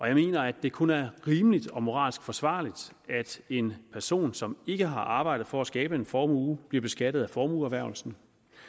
jeg mener at det kun er rimeligt og moralsk forsvarligt at en person som ikke har arbejdet for at skabe en formue bliver beskattet af formueerhvervelsen